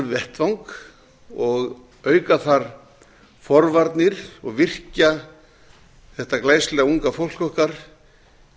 vettvang og auka þar forvarnir og virkja þetta glæsilega unga fólk okkar